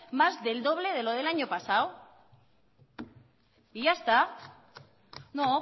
más del doble de lo del año pasado y ya está no